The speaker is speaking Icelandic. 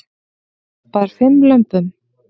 Bar fimm lömbum